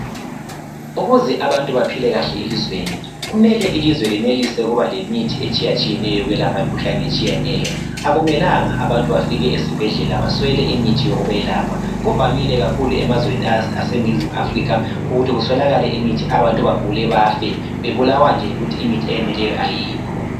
Ukuze abantu baphile kahle elizweni, kumele belinelise ukuba lemithi etshiyatshiyeneyo yokwelapha imikhuhlane etshiyeneyo. Akumelanga abantu bafike esibhedlela baswele imithi yokwelepha. Kuvamile kakhulu emazweni aseningizimu Africa ukuthi abantu baswele amaphilisi bafe bebulawa nje yikuthi imithi eyeneleyo kayikho.